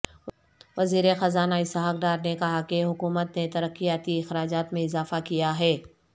وزیر خزانہ اسحاق ڈار نے کہا کہ حکومت نے ترقیاتی اخراجات میں اضافہ کیا ہے